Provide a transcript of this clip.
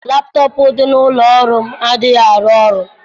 Laptọọpụ dị n'ụlọ ọrụ m adịghị arụ ọrụ.